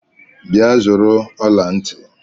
Bịa zụrụ ọla ntị!